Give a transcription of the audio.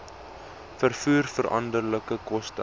vervoer veranderlike koste